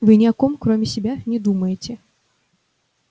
вы ни о ком кроме себя не думаете